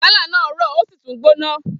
Gálà náà rọ ó sì tún gbóná